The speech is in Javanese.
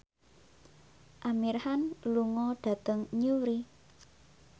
Amir Khan lunga dhateng Newry